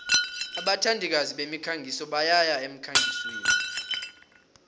abathandikazi bemikhangiso bayaya emkhangisweni